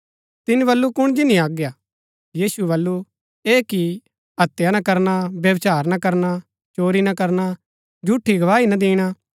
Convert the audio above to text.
तिनी बल्लू कुण जिनी आज्ञा यीशुऐ बल्लू ऐह कि हत्या ना करना व्यभिचार ना करना चोरी ना करना झूठी गवाही ना दिणी